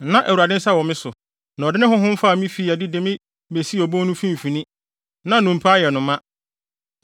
Na Awurade nsa wɔ me so na ɔde ne Honhom faa me fii adi de me besii obon no mfimfini, na nnompe ayɛ no ma.